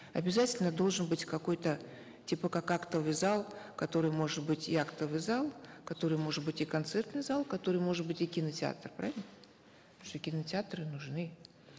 обязательно должен быть какой то типа как актовый зал который может быть и актовый зал который может быть и концертный зал который может быть и кинотеатр правильно что кинотеатры нужны